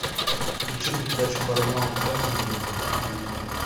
включи передачу парамаунт камеди на телевизоре